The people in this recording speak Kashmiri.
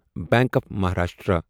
bank of Maharashtra